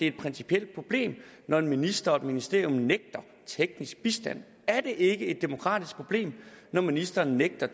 et principielt problem når en minister og et ministerium nægter teknisk bistand er det ikke et demokratisk problem når ministeren nægter